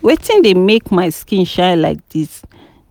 Wetin dey make my skin shine like dis